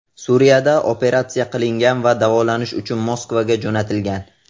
Suriyada operatsiya qilingan va davolanish uchun Moskvaga jo‘natilgan.